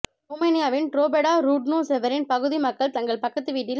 ரோமானியாவின் Drobeta Turnu Severin பகுதி மக்கள் தங்கள் பக்கத்து வீட்டில்